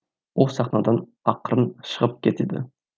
ол сахнадан ақырын шығып кетеді